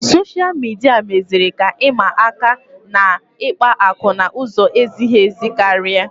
Soshal midia meziri ka ịma aka nakwa ikpa akụ n'ụzọ ezighị ezi karịa